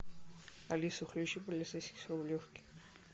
алиса включи полицейский с рублевки